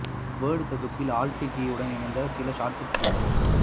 word தொகுப்பில் Alt கீயுடன் இணைந்த சில ஷார்ட் கட் கீகள்